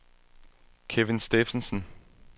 Kevin Steffensen